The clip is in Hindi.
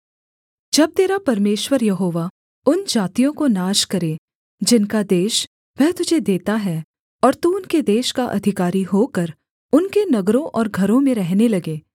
जब तेरा परमेश्वर यहोवा उन जातियों को नाश करे जिनका देश वह तुझे देता है और तू उनके देश का अधिकारी होकर उनके नगरों और घरों में रहने लगे